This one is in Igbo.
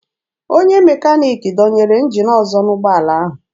Onye mekaniki dọnyere njin ọzọ n'ụgbọala ahụ.